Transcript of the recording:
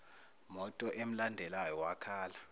moto emlandelayo wakhala